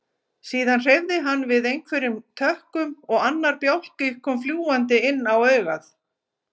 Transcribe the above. Síðan hreyfði hann við einhverjum tökkum og annar bjálki kom fljúgandi inn á augað.